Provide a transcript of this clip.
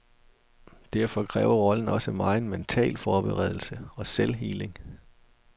Derfor kræver rollen også megen mental forberedelse og selvhealing.